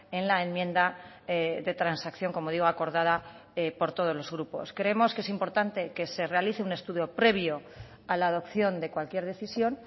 en la enmienda de transacción como digo acordada por todos los grupos creemos que es importante que se realice un estudio previo a la adopción de cualquier decisión